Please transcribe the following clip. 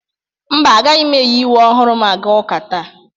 Mba, agaghị m eyi uwe ọhụrụ m aga ụka taa.